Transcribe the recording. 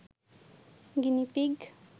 guinea pig